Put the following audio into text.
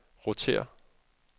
rotér